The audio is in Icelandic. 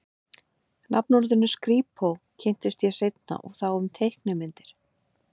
Nafnorðinu skrípó kynntist ég seinna og þá um teiknimyndir.